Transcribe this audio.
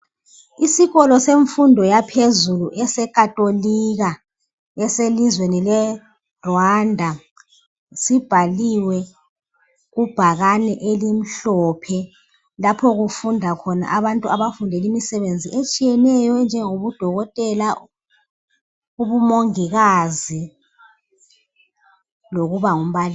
Isikolo semfundo yaphezulu esecatholika elizweni le Rwanda sibhaliwe kubhakane elimhlophe lapho kufunda khona abantu abafundela imisebenzi etshiyeneyo enjengobudokotela ubumomgokazi lokuba ngumbalisi